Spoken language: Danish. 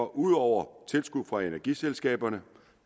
ud over tilskud fra energiselskaberne